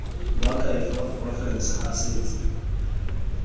moakhaefe wa porofense a setse